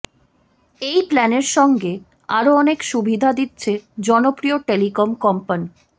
এই প্ল্যানের সঙ্গে আরও অনেক সুবিধা দিচ্ছে জনপ্রিয় টেলিকম কোম্পান